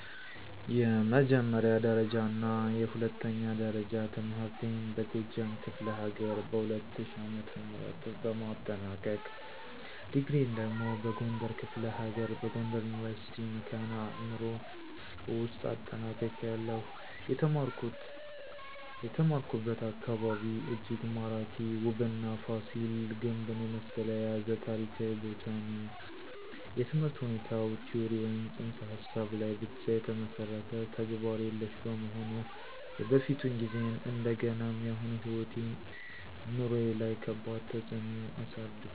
የመጀመሪያ ደረጃና የሁለተኛ ደረጃ ትምህርቴን በጎጃም ክፍለ ሀገር በ2000 ዓ.ም በማጠናቀቅ፤ ዲግሪየን ደግሞ በጎንደር ክፍለ ሀገር በጎንደር ዩኒቨርሲቲ ( መካነ አዕምሮ ) ውውስጥ አጠናቅቄያለሁ። የተማርኩበት አካባቢ እጅግ ማራኪ፣ ውብና ፋሲል ግንብን የመሰለ የያዘ ታሪካዊ ቦታ ነው። የትምህርት ሁኔታው ቲዎሪ ወይም ፅንሰ ሀሳብ ላይ ብቻ የተመሠረተ፣ ተግባር የሌሽ በመሆኑ የበፊቱን ጊዜዬን እንደገናም የአሁኑ ሕይወቴ/ኑሮዬ ላይ ከባድ ተፅእኖ አሳድሯል።